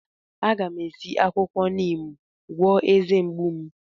A ga m esi akwukwo Neem gwọọ eze mgbu m.